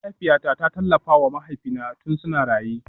Mahaifiyata ta tallafa wa mahaifina tun suna raye